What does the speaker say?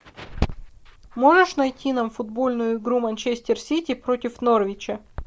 можешь найти нам футбольную игру манчестер сити против норвича